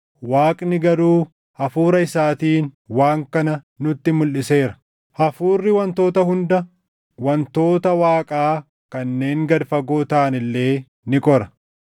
Waaqni garuu Hafuura isaatiin waan kana nutti mulʼiseera. Hafuurri wantoota hunda, wantoota Waaqaa kanneen gad fagoo taʼan illee ni qora.